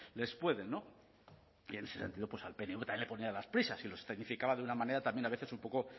les pueden y en ese sentido al pnv también le podían las prisas y lo escenificaba de una manera también a veces un poco